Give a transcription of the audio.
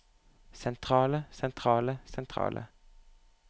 sentrale sentrale sentrale